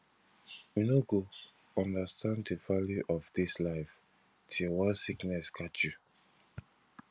you no go understand the value of dis life till one sickness catch you